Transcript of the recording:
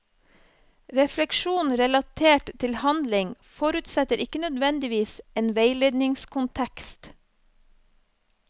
Refleksjon relatert til handling forutsetter ikke nødvendigvis en veiledningskontekst.